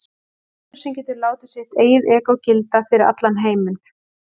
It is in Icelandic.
Maður sem getur látið sitt eigið egó gilda fyrir allan heiminn.